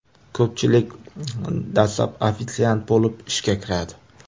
Ko‘pchilik dastlab ofitsiant bo‘lib ishga kiradi.